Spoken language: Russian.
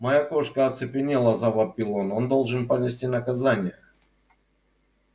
моя кошка оцепенела завопил он он должен понести наказание